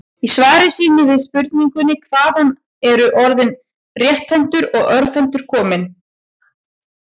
Í svari sínu við spurningunni Hvaðan eru orðin rétthentur og örvhentur komin?